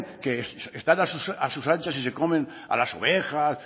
a sus anchas y se comen a las ovejas